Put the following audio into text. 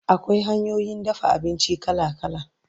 Akwai hanyoyin dafa abinci kala kala